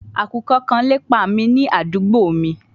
Akukọ kan lepa mi ni adugbo mi